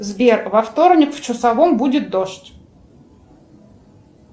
сбер во вторник в часовом будет дождь